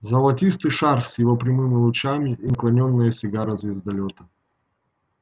золотистый шар с его прямыми лучами и наклонённая сигара звездолёта